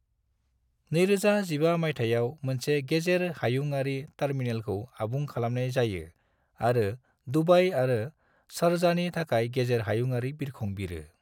2015 माइथायाव मोनसे गेजेर हायुंयारि टर्मिनलखौ आबुं खालामनाय जायो आरो दुबई आरो शारजाहनि थाखाय गेजेर हायुंयारि बिरखं बिरो।